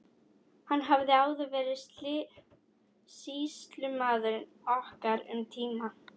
Hann hafði áður verið sýslumaður okkar um tíma.